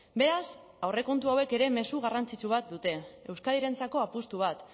beraz aurrekontu hauek ere mezu garrantzitsu bat dute euskadirentzako apustu bat